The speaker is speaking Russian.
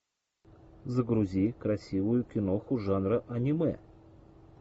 загрузи красивую киноху жанра аниме